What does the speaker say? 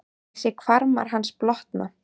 Ég sé að hvarmar hans blotna.